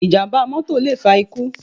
Ìjàm̀bá mọ́tọ̀ lè fa ikú.